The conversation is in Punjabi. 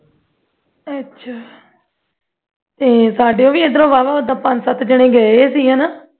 ਅੱਛਾ ਤੇ ਸਾਡੇ ਵੀ ਅੰਦਰੋਂ ਵਾਹਵਾ ਪੰਜ-ਸਤ ਜਣੇ ਗਏ ਸੀ ਵਾਹਵਾ ਪੰਜ-ਸਤ ਜਣੇ ਗਏ ਸੀ ਹੈਂ ਨਾ